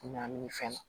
Ɲamaminɛn fɛn na